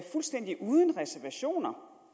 fuldstændig uden reservationer